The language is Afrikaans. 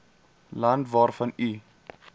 land waarvan u